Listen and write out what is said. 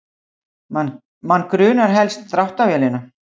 Mann grunar helst dráttarvélina